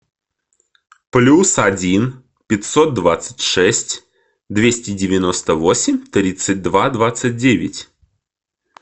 плюс один пятьсот двадцать шесть двести девяносто восемь тридцать два двадцать девять